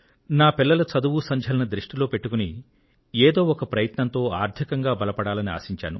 నా పిల్లల చదువుసంధ్యలను దృష్టిలో పెట్టుకుని ఏదో ఒక ప్రయత్నంతో ఆర్థికంగా బలపడాలని ఆశించాను